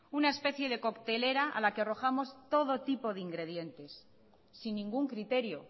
una especie de coctelera a la que arrojamos todo tipo de ingredientes sin ningún criterio